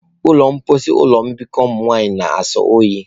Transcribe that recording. Ụlọ mposi ụlọ mbikọ nwanyị na-asọ oyi.